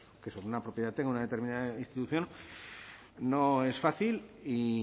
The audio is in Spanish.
que sobre una propiedad tenga una determinada institución no es fácil y